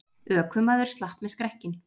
Ökumaður slapp með skrekkinn